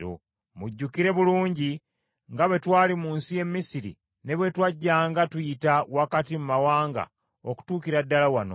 Mujjukira bulungi nga bwe twali mu nsi y’e Misiri, ne bwe twajjanga tuyita wakati mu mawanga okutuukira ddala wano.